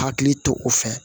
Hakili to o fɛ